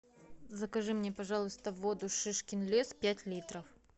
закажи мне пожалуйста воду шишкин лес пять литров